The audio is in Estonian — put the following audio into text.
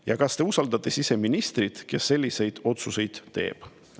Ja kas te usaldate siseministrit, kes selliseid otsuseid teeb?